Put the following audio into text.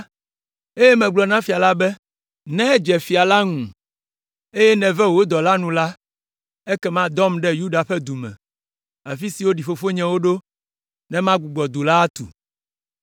eye megblɔ na fia la be, “Ne edze fia la ŋu, eye nève wò dɔla nu la, ekema dɔm ɖe Yuda ƒe du me, afi si woɖi fofonyewo ɖo ne magbugbɔ du la atu.”